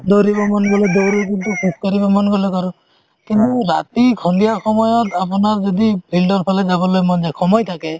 দৌৰিব মন গলে দৌৰু কিন্তু খোজ কাঢ়িব মন গলে কাঢ়ো ট ৰাতি সন্ধিয়া সময়ত যদি field ফালে যাবলৈ মন যাই সময় থাকে